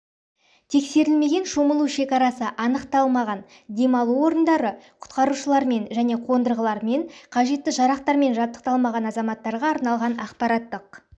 тексерілмеген шомылу шекарасы анықталмаған демалу орындары құтқарушылармен және қондырғылармен қажетті жарақтармен жабдықталмаған азаматтарға арналған ақпараттық